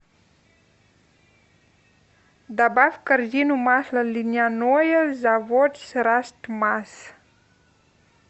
добавь в корзину масло льняное заводрастмас